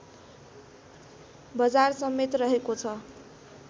बजार समेत रहेको छ